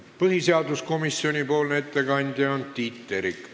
Põhiseaduskomisjoni ettekandja on Tiit Terik.